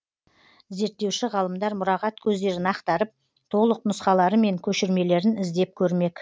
зерттеуші ғалымдар мұрағат көздерін ақтарып толық нұсқалары мен көшірмелерін іздеп көрмек